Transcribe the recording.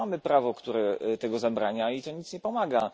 Już mamy prawo, które tego zabrania i to nic nie pomaga.